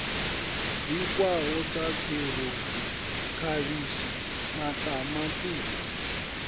bikwaho sa kherotsi khavhishi maṱamaṱisi